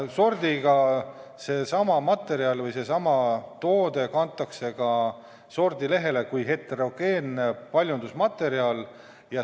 Sordiga on nii, et seesama materjal või seesama toode kantakse sordilehele kui heterogeenne paljundusmaterjal.